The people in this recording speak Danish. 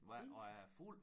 Intet